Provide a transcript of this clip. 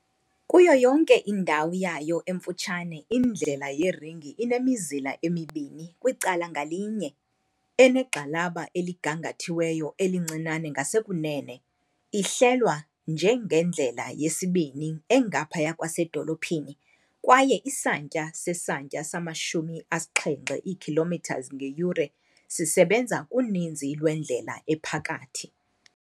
Kuyo yonke indawo yayo emfutshane indlela yeringi inemizila emibini kwicala ngalinye, enegxalaba eligangathiweyo elincinane ngasekunene, ihlelwa njengendlela yesibini engaphaya kwasedolophini kwaye isantya sesantya sama-70 kilometers ngeyure sisebenza kuninzi lwendlela ephakathi.